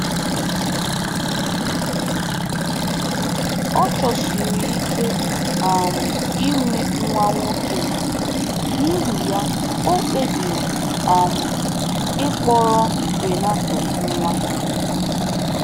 Ọ chọsiri ike um inwe nwa nwoke, n’ihi ya, o kpebiri um ịkpọrọ Renato nwa.